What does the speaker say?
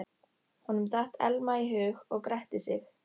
Honum datt Elma í hug og gretti sig.